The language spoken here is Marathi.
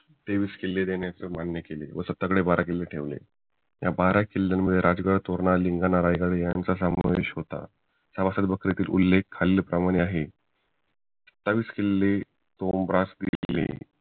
तेवीस किल्ले देण्याचे मान्य केले व त्यांच्याकडे बर किल्ले ठेवले त्या बारा किल्ल्यांमध्ये राजगड तोरणा लिंगाणा रायगड यांचा समावेश होतं सभासद बैठकीतील उल्लेख खालीलप्रमाणे आहे आठवीस किल्ले